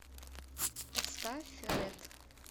поставь ред